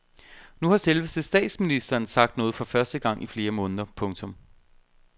Nu har selveste statsministeren sagt noget for første gang i flere måneder. punktum